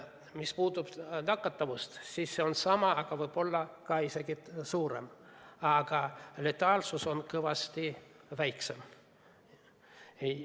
Mis puudutab nakatavust, siis see on sama, võib-olla isegi suurem, aga letaalsus on kõvasti väiksem.